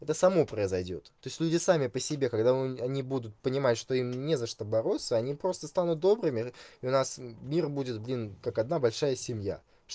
это само произойдёт то есть люди сами по себе когда он они будут понимать что им не за что бороться они просто станут добрыми и у нас мир будет блин как одна большая семья